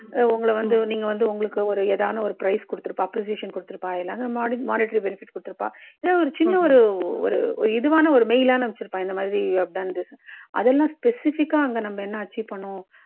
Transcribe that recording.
உங்கள வந்து உங்களுக்கு வந்து ஏதாவது ஒரு prize குடுத்துருப்பாங்க. appreciation குடுத்துருப்பா. ஏதாவது monetary benefit குடுத்துருப்பா. இல்ல ஒரு சின்ன ஒரு ஒரு துவான ஒரு mail லாவது அனுப்பி இருப்பா. இந்த மாதிரி you have done this அதெல்லாம் specific கா அங்க நம்ப என்ன achieve பண்ணினோம்.